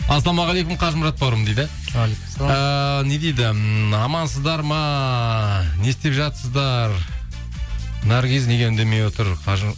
ассалаумағалейкум қажымұрат бауырым дейді уағалейкум ассалам ыыы не дейді амансыздар ма не істеп жатсыздар наргиз неге үндемей отыр